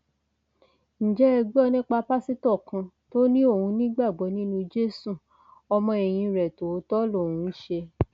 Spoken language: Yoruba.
ǹjẹ ẹ gbọ nípa pásítọ kan tó ní òun nígbàgbọ nínú jésù ọmọ ẹyìn rẹ tòótọ lòun ń ṣe